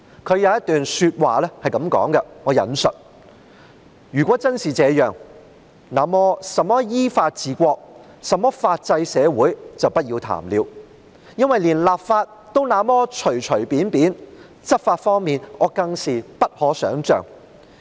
他的一段話是這樣的︰"如果真是這樣，那麼甚麼依法治國、甚麼法制社會就不要談了，因為連立法也那麼隨隨便便，執法方面，我更是不可想像。